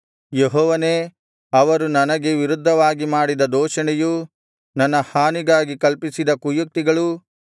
ಯೆಹೋವನೇ ಅವರು ನನಗೆ ವಿರುದ್ಧವಾಗಿ ಮಾಡಿದ ದೂಷಣೆಯೂ ನನ್ನ ಹಾನಿಗಾಗಿ ಕಲ್ಪಿಸಿದ ಕುಯುಕ್ತಿಗಳೂ